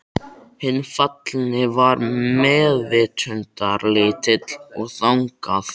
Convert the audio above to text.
Hinn fallni var meðvitundarlítill og þagði.